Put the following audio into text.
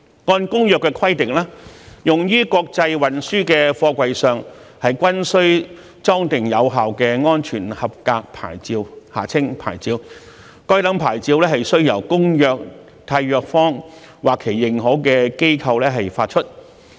按照《公約》規定，用於國際運輸的貨櫃上均須裝定有效的安全合格牌照，該等牌照須由《公約》締約方或其認可機構發出。